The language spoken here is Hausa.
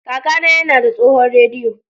Kakana yana da tsohon rediyo.